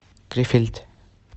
крефельд